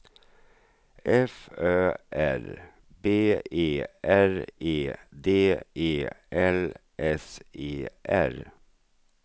F Ö R B E R E D E L S E R